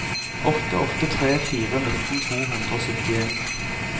åtte åtte tre fire nitten to hundre og syttien